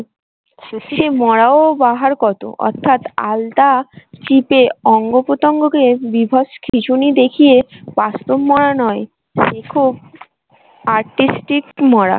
মরারও বাহার কত অর্থাৎ আলতা চিপে অঙ্গ পতঙ্গকে বীভৎ খিঁচুনি দেখিয়ে বাস্তব মরা নয় artistic মরা